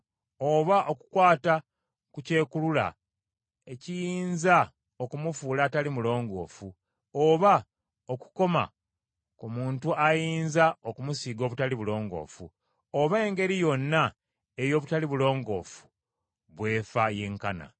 oba okukwata ku kyekulula ekiyinza okumufuula atali mulongoofu, oba okukoma ku muntu ayinza okumusiiga obutali bulongoofu, oba engeri yonna ey’obutali bulongoofu bw’efa yenkana.